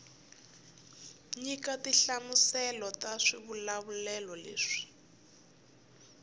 nyika tinhlamuselo ta swivulavulelo leswi